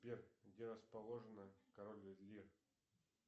сбер где расположено король лир